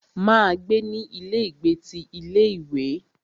Máa gbé ní ilé ìgbé ti ilé ìwé.